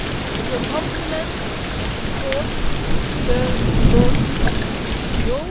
It will complement and support the work of the EPPO.